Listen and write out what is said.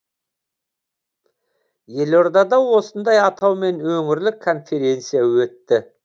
елордада осындай атаумен өңірлік конференция өтті